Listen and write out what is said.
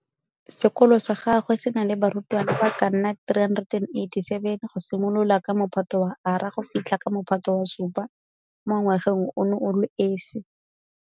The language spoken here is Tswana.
Sekolo sa gagwe se na le barutwana ba ka nna 387 go simolola ka Mophato wa R go fitlha ka Mophato wa 7 mo ngwageng ono o le esi.